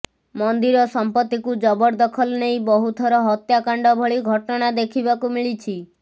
ମନ୍ଦିର ସଂପତ୍ତିକୁ ଜବରଦଖଲ ନେଇ ବହୁ ଥର ହତ୍ୟାକାଣ୍ଡ ଭଳି ଘଟଣା ଦେଖିବାକୁ ମିଳିଛି